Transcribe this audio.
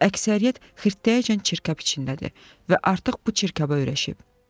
Əksəriyyət xirtdəyəcən çirkab içindədir və artıq bu çirkaba öyrəşib.